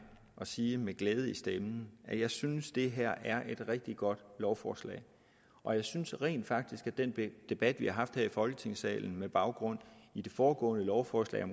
at sige med glæde i stemmen jeg synes det her er et rigtig godt lovforslag og jeg synes rent faktisk at den debat vi haft her i folketingssalen med baggrund i det foregående lovforslag